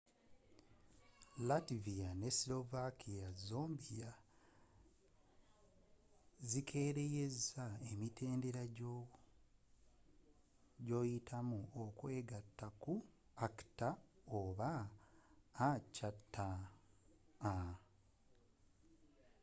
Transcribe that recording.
latvia ne slovakia zombie zikereyeza emitendera gyoyitamu okweyunga ku acta